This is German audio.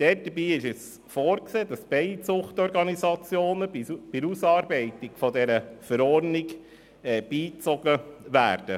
Für die Ausarbeitung der Verordnung ist vorgesehen, dass Bienenzuchtorganisationen beigezogen werden.